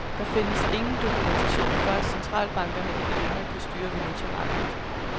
Der findes ingen dokumentation for, at centralbankerne ikke længere kan styre valutamarkedet.